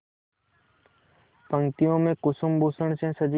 पंक्तियों में कुसुमभूषण से सजी